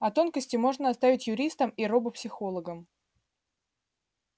а тонкости можно оставить юристам и робопсихологам